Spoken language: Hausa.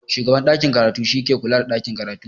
Shugaban ɗakin karatu shi yake kula da ɗakin karatu.